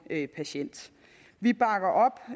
en patient vi bakker op